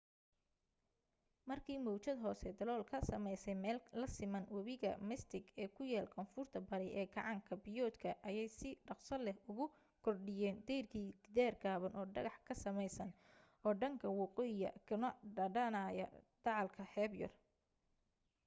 markii mawjad hoose dalool ka sameysay meel la siman webiga mystic ee ku yaal koonfurta bari ee gacan biyoodka ayay si dhakhso leh ugu kordhiyeen dayrkii gidaar gaaban oo dhagax ka samaysan oo dhanka waqooyiya kuna dhammaanaya dacalka xeeb yar